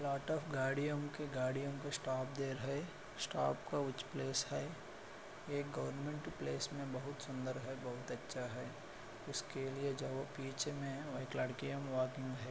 Lot of गाड़ियों के गाड़ियों को स्टॉप दे रहे है स्टॉप का उच प्लेस है एक गवर्नमेंट प्लेस मे बहुत सुंदर है बहुत अच्छा है। उसके लिए बीच में --